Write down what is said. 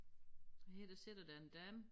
Og her der sidder der en dame